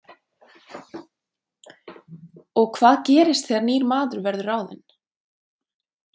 Og hvað gerist þegar nýr maður verður ráðinn?